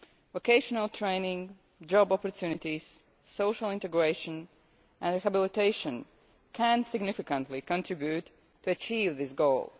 Vocational training, job opportunities, social integration and rehabilitation can significantly contribute to the achievement of this goal.